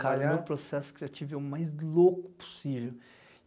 cara, o meu processo criativo é o mais louco possível.